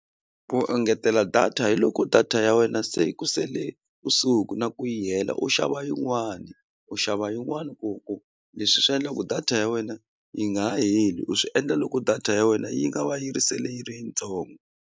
Ku engetela data hi loko data ya wena se ku sele kusuhi na ku yi hela u xava yin'wani u xava yin'wani ku ku leswi swi endlaku data ya wena yi nga ha heli u swi endla loko data ya wena yi nga va yi ri sele yi ri yitsongo.